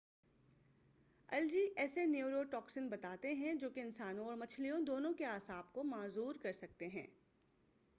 algae ایسے neurotoxin بناتے ہیں جو کہ انسانوں اور مچھلیوں دونوں کے اعصاب کو معذور کر سکتے ہیں